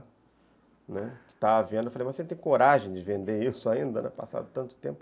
Né, está à venda, eu falei, mas você tem coragem de vender isso ainda, passado tanto tempo?